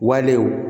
Walew